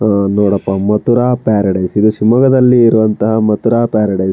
ಆಹ್ಹ್ ನೋಡಪ್ಪ ಮಥುರಾ ಪ್ಯಾರಡೈಸ್ ಇದು ಶಿವಮೊಗ್ಗದಲ್ಲಿ ಮಥುರಾ ಪ್ಯಾರಡೈಸ್ --